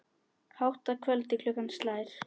Hátt að kvöldi klukkan slær.